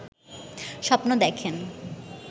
স্বপ্ন দেখেন